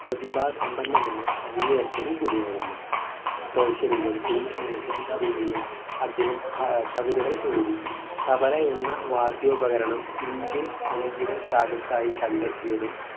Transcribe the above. പ്രതിഭാ സമ്പന്നനായ സംഗീതജ്ഞനും കൂടിയായിരുന്നു persian ലും ഹിന്ദവയിലും അദ്ദേഹം കവിതകൾ എഴുതി തബല എന്ന വാദ്യോപകരണം ഇന്ത്യൻ സംഗീത ശാഖയ്ക്കായി കണ്ടെത്തിയതും